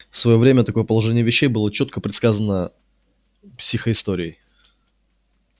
в своё время такое положение вещей было чётко предсказано психоисторией